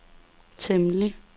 temmelig